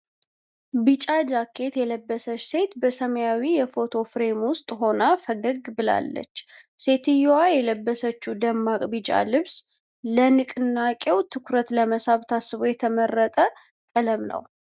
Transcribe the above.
ቢጫ ጃኬት የለበሰች ሴት በሰማያዊ የፎቶ ፍሬም ውስጥ ሆና ፈገግ ብላአለች፡፡ ሴትየዋ የለበሰችው ደማቅ ቢጫ ልብስ ለንቅናቄው ትኩረት ለመሳብ ታስቦ የተመረጠ ቀለም ነው?